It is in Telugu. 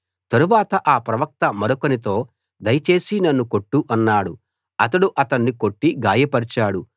తరువాత ఆ ప్రవక్త మరొకనితో దయచేసి నన్ను కొట్టు అన్నాడు అతడు అతన్ని కొట్టి గాయపరచాడు